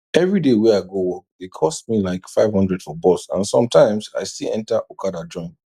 every day wey i go work dey cost me like 500 for bus and sometimes i still enter okada join